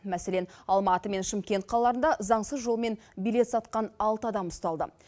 мәселен алматы мен шымкент қалаларында заңсыз жолмен билет сатқан алты адам ұсталды